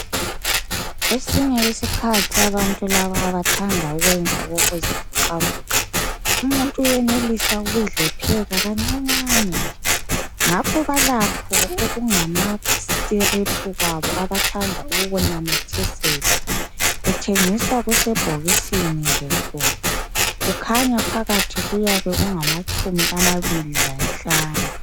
Kwesinye isikhathi abantu laba abathanda ukwenza okokuzivoca voca umuntu uyenelisa ukuhlepheka kancinyane nje ngakho balakho okungama strip kwabo abathanda ukukunamathisela kuthengiselwa kusebhokisini nje khona kukhanya phakathi kuyabe kungama tshumi amabili lanhlanu